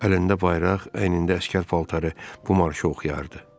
Əlində bayraq, əynində əsgər paltarı bu marşı oxuyardı.